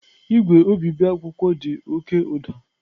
Igwe obibi akwụkwọ dị oke ụda.